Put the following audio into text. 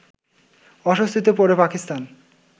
অস্বস্তিতে পড়ে পাকিস্তান